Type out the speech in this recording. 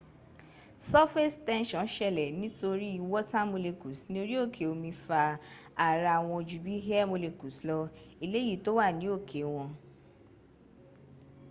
surface tension ṣẹlẹ̀ nítorí water molecules ní orí òkè omi fa ara wọn ju bí air molecules lọ eléyìí tó wà ní òkè wọn